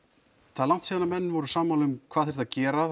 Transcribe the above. það er langt síðan menn voru sammála um hvað þyrfti að gera